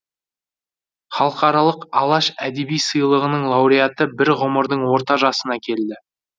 халықаралық алаш әдеби сыйлығының лауреаты бір ғұмырдың орта жасына келді